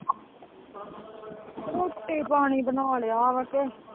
ਰੋਟੀ-ਪਾਣੀ ਬਣਾ ਲਿਆ ਵਾਂ ਕੇ।